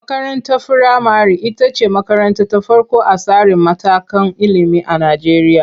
Makarantar firamare ita ce makaranta ta farko a tsarin matakan ilimi a Najeriya.